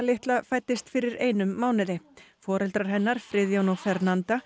litla fæddist fyrir einum mánuði foreldrar hennar Friðjón og